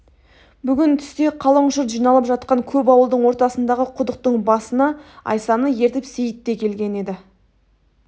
бүгін түсте қалың жұрт жиналып жатқан көп ауылдың ортасындағы құдықтың басына айсаны ертіп сейітте келген еді